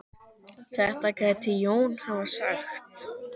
Þetta gæti Jón hafa sagt.